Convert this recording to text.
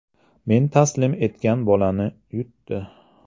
Men taslim etgan bolani yutdi.